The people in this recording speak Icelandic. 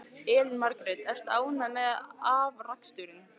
Elín Margrét: Ertu ánægður með afraksturinn?